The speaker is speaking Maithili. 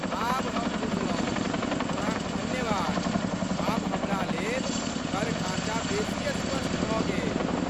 आब हम बुझलहुँ, अहाँक धन्यवाद, आब हमरा लेल कर ढ़ाँचा बेसी स्पष्ट भऽ गेल।